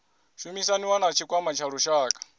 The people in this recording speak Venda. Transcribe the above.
shumisaniwa na tshikwama tsha lushaka